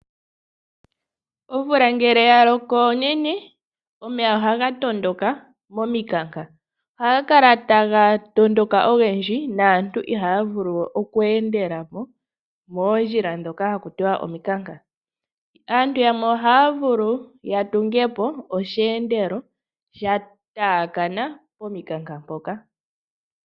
Omvula ngele ya loko onene, o.eya ohaga tondoka momikanka. Ohaga kala taga tondoka ogendji, naantu ihaya kala we taya vulu okweendela popoondjila ndhoka pwa pita omikanka. Aantu yamwe ohaya vulu ya tunge po osheendelo, sha taakana omukanka ngoka.